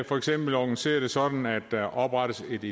for eksempel organisere det sådan at der oprettes et